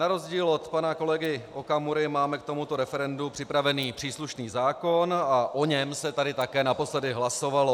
Na rozdíl od pana kolegy Okamury máme k tomuto referendu připravený příslušný zákon a o něm se tady také naposledy hlasovalo.